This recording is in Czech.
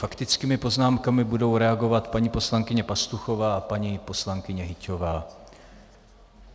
Faktickými poznámkami budou reagovat paní poslankyně Pastuchová a paní poslankyně Hyťhová.